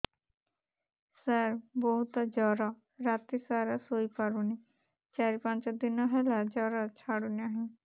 ସାର ବହୁତ ଜର ରାତି ସାରା ଶୋଇପାରୁନି ଚାରି ପାଞ୍ଚ ଦିନ ହେଲା ଜର ଛାଡ଼ୁ ନାହିଁ